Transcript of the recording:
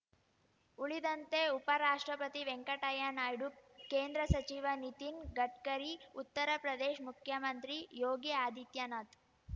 ಉಳಿದಂತೆ ಉಪರಾಷ್ಟ್ರಪತಿ ವೆಂಕಟಯ್ಯನಾಯ್ಡು ಕೇಂದ್ರ ಸಚಿವ ನಿತಿನ್ ಗಡ್ಕರಿ ಉತ್ತರ ಪ್ರದೇಶ್ ಮುಖ್ಯಮಂತ್ರಿ ಯೋಗಿಆದಿತ್ಯನಾಥ್